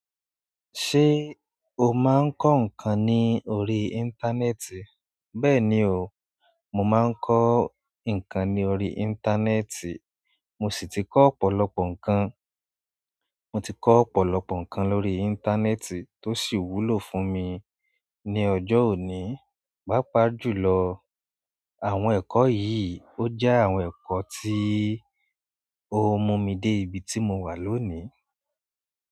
Ṣé o máa ń kọ́ nǹkan ní orí íńtánẹ́ẹ̀tì? Bẹ́ẹ̀ni o, mo máa ń kọ́ nǹkan ní orí íńtánẹ́ẹ̀tì mo sì ti kọ́ ọ̀pọ̀lọpọ̀ nǹkan. Mo ti kọ́ ọ̀pọ̀lọpọ̀ nǹkan lórí íńtánẹ́ẹ̀tì tó sì wúlò fún mi ní ọjọ́ òní. Pàápàá jù lọ, àwọn ẹ̀kọ́ yìí ó jẹ́ àwọn ẹ̀kọ́ tí ó mú mi dé ibi tí mo wà lónìí.